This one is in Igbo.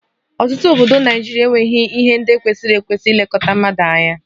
Ọtụtụ obodo Naịjirịa enweghị ihe ndị kwesịrị ekwesị na-elekọta mmadụ